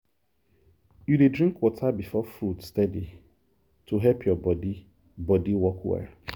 you dey drink water before food steady to help your body body work well.